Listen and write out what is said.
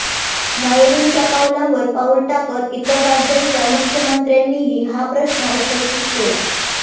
नायडूंच्या पावलावर पाऊल टाकत इतर राज्यांच्या मुख्यमंत्र्यांनीही हा प्रश्न उपस्थित केला